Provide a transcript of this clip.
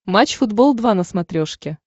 матч футбол два на смотрешке